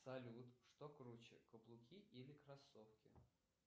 салют что круче каблуки или кроссовки